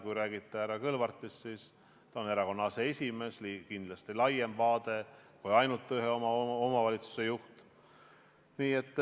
Kui räägite härra Kõlvartist, siis ta on erakonna aseesimees, kindlasti on tal laiem vaade kui ainult ühe omavalitsuse juhil.